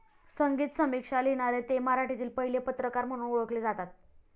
संगीत समीक्षा लिहिणारे ते मराठीतील पहिले पत्रकार म्हणून ओळखले जातात